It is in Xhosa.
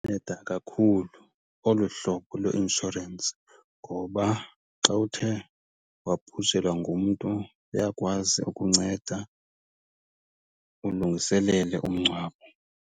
Nceda kakhulu olu hlobo lwe-inshorensi ngoba xa uthe wabhujelwa ngumntu uyakwazi ukunceda ulungiselele umngcwabo.